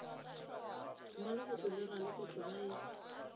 mmalegotlo le ralegotlo ba e